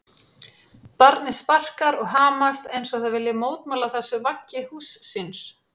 Barnið sparkar og hamast eins og það vilji mótmæla þessu vaggi húss síns.